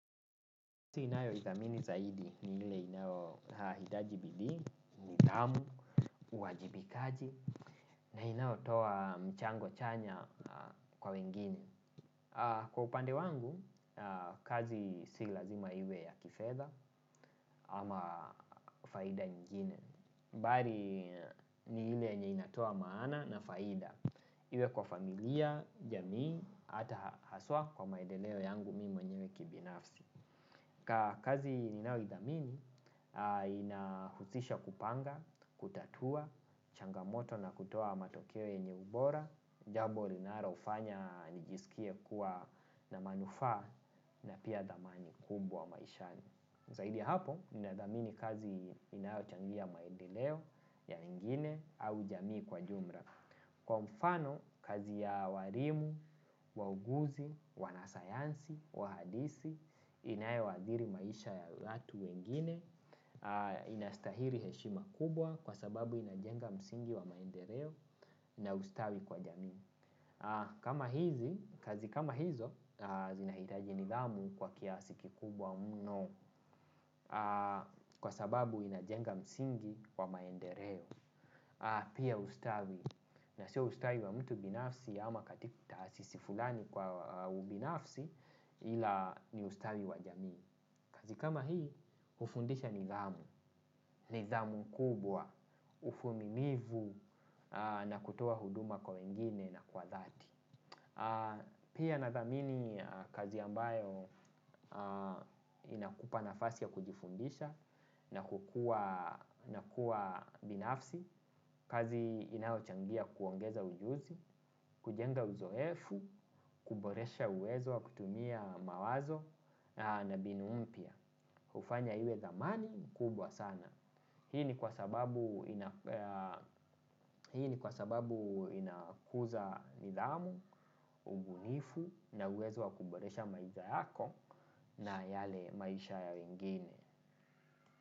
Nji ninayo idhamini zaidi ni ile inayo hitaji bidii, nidhamu, uajibikaji na inayo toa mchango chanya kwa wengine. Kwa upande wangu, kazi si lazima iwe ya kifedha ama faida nyingine. Bali ni ile yenye inatoa maana na faida. Iwe kwa familia, jamii, ata haswa kwa maedeleo yangu mimi mwenyewe kibinafsi. Kazi ninayo idhamini inahusisha kupanga, kutatua changamoto na kutoa matokeo yenye ubora, jambo linalo fanya nijisikie kuwa na manufaa na pia dhamani kubwa maishani. Zaidi ya hapo, ninadhamini kazi inayo changia maedeleo ya wengine au jamii kwa jumla. Kwa mfano, kazi ya walimu, wauguzi, wanasayansi, waandisi, inayo athiri maisha ya watu wengine, inastahili heshima kubwa kwa sababu inajenga msingi wa maendeleo na ustawi kwa jamii. Kazi kama hizo, zinahitaji nidhamu kwa kiasi kikubwa mno kwa sababu inajenga msingi wa maendeleo. Pia ustawi na sio ustawi wa mtu binafsi ama taasisi fulani kwa ubinafsi ila ni ustawi wa jamii. Kazi kama hii ufundisha nidhamu, nidhamu kubwa, uvumilivu na kutoa huduma kwa wengine na kwa dhati. Pia nadhamini kazi ambayo inakupa nafasi ya kujifundisha na kuwa binafsi. Kazi inao changia kuongeza ujuzi, kujenga uzoefu, kuboresha uwezo wa kutumia mawazo na mbinu mpya ufanya iwe dhamani kubwa sana. Hii ni kwa sababu inakuza nidhamu, ubunifu na uwezo wa kuboresha maisha yako na yale maisha ya wengine.